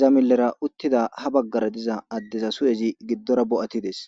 iza milera utida ha bagara diza dezas hi'ez gidora bo'atides.